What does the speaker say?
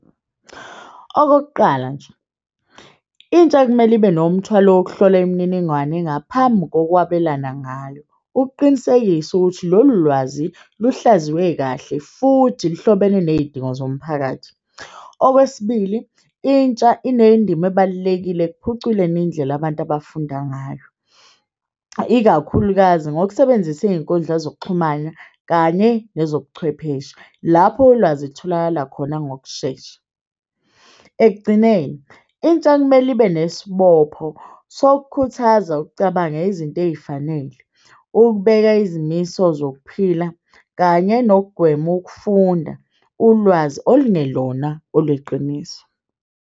Okokuqala nje, intsha ekumele ibe nomthwalo wokuhlola imininingwane ngaphambi kokwabelana ngayo, ukuqinisekisa ukuthi lolu lwazi luhlaziwe kahle futhi luhlobene ney'dingo zomphakathi. Owesibili, intsha inendima ebalulekile ukuphuculeni indlela abantu abafunda ngayo, ikakhulukazi ngokusebenzisa iy'nkundla zokuxhumana kanye nezobuchwepheshe lapho ulwazi kutholakala khona ngokushesha. Ekugcineni, intsha kumele ibe nesibopho sokukhuthaza ukucabanga izinto ey'fanele, ukubeka izimiso zokuphila kanye nokugwema ukufunda ulwazi olungelona olweqiniso.